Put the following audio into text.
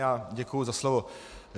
Já děkuji za slovo.